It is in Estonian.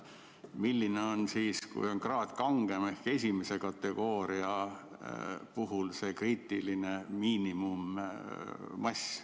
Milline on siis, kui on kraad kangem, esimese kategooria puhul, see kriitiline miinimummass?